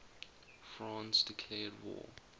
france declared war